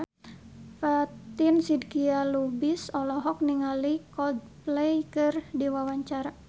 Fatin Shidqia Lubis olohok ningali Coldplay keur diwawancara